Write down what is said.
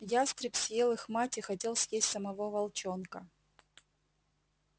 ястреб съел их мать и хотел съесть самого волчонка